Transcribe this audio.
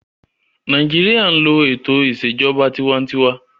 Nàìjíríyà n lo ètò ìṣèjọba tinwatinwa